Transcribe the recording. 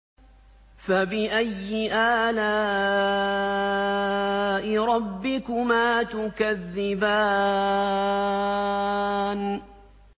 فَبِأَيِّ آلَاءِ رَبِّكُمَا تُكَذِّبَانِ